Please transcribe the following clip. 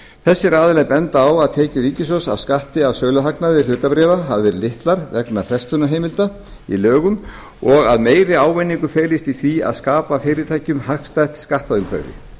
þessir aðilar benda á að tekjur ríkissjóðs af skatti af söluhagnað hlutabréfa hafi verið litlar vegna frestunarheimilda í lögum og að meiri ávinningur felist í því að skapa fyrirtækjum hagstætt skattaumhverfi